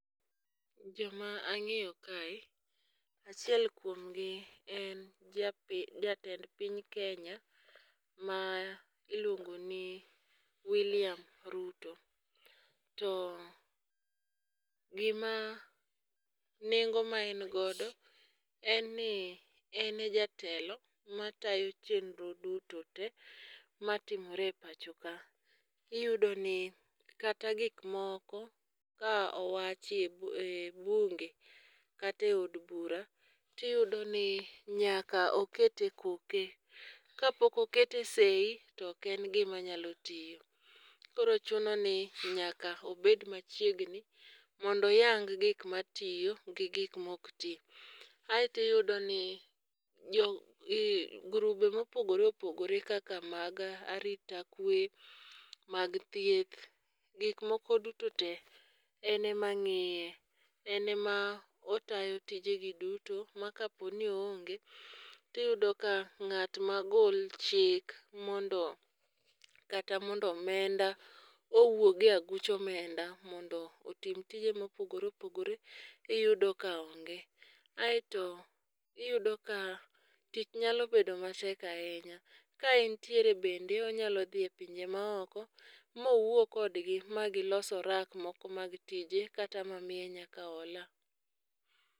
Joma ang'eyo kae achiel kuom gi en jatend piny Kenya ma iluongo ni William Ruto. To gima nengo ma en godo en ni ene jatelo matayo chenro duto te matimore e pacho ka. Iyudo ni kata gik moko ka owachi e bunge kata e od bura tiyudo ni nyaka okete koke. Ka pok okete seyi tok en gima nyalo tiyo. Koro chuno ni nyaka obed machiegni mondo oyang gik matiyo gi gik mok ti. Aito iyudo ni grube mopogore opogore kaka mag arita kwe, mag thieth, gik moko duto te ene ma ng'iye. Ene ma otayo tije gi duto ma ka po ni o onge tiyudo ka ng'at magol chik mondo kata mondo omenda owuogi e aguch omenda mondo otim tije mopogore opogore iyudo ka onge. Aito iyudo ka tich nyalo bedo matek ahinya. Ka entiere bende onyalo dhiye pinje ma oko ma owuo kodgi ma gilos orak moko mag tije kata mamiye nyaka ola.